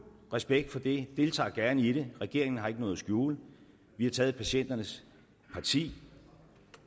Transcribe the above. respekt for det jeg deltager gerne i den regeringen har ikke noget at skjule vi har taget patienternes parti